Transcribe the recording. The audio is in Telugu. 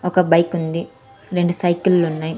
ఒక బైకుంది రెండు సైకిళ్లున్నాయ్ .